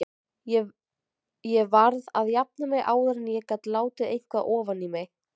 Ég varð að jafna mig áður en ég gat látið eitthvað ofan í mig.